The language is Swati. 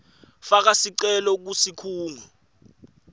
faka sicelo kusikhungo